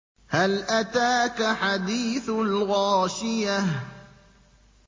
هَلْ أَتَاكَ حَدِيثُ الْغَاشِيَةِ